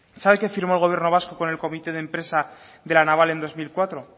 sabe qué firmó el gobierno vasco con el comité de empresa de la naval en dos mil cuatro